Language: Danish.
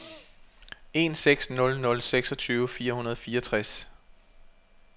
en seks nul nul seksogtyve fire hundrede og fireogtres